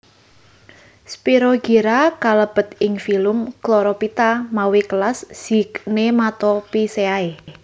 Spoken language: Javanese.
Spirogyra kalebet ing filum Chlorophyta mawi kelas Zygnematophyceae